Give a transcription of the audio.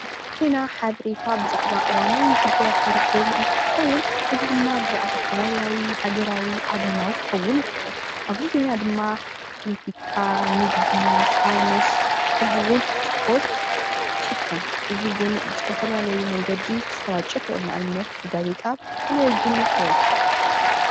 ዜና ብዛዕባ ሓበሬታ ብዛዕባ እዋናዊ ጉዳያት እትረክበሉ እትትከውን እዚ ድማ ብዛዕባ ከባቢያዊ፣ ሃገራዊ፣ ዓለማዊ ክከውን ይክእል፡፡ ኣብ እዚ ዜና ድማ ፖለቲካ ፣ንግዲ፣ ሳይነስ ከምኡ እውን እስፖርት ይሽፈን፡፡ እዚ እውን ብዝተፈላለዩ መንገዲ ክሳራጨው ይክእል፡፡ ንኣብነት ብጋዜጣ ብቴለብዥንን ካልኦትን፡፡